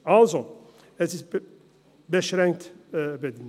Also: Es ist beschränkt richtig.